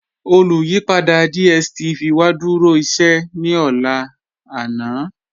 Olùyìpadà DStv wa dúró íṣẹ̀ ní ọ̀lá àná.